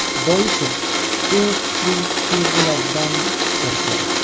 Boisi, u kuchli his-tuyg‘ulardan qo‘rqadi.